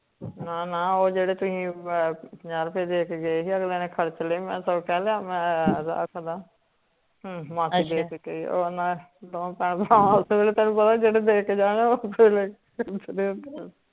ਨਾ ਨਾ ਜੇਡੇ ਤੁਸੀਂ ਪੰਜਾਂ ਰੁਪਏ ਦੇ ਕੇ ਗਏ ਸੀ ਅਗਲਾ ਨੇ ਖਰਚ ਲੀਯੇ ਮੈ ਰੱਖਦਾ ਅੱਛਾ ਤੈਨੂੰ ਪਤਾ ਜੇਡੇ ਦੇ ਕੇ ਜਾਣ